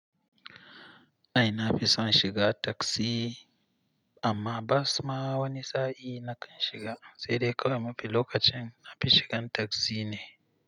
Ai na fi son shiga taksi amma bas ma wani sa'i na kan shiga sai dai kawai mafi lokacin na fi shigan taksi ne.